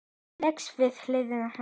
Leggst við hlið hennar.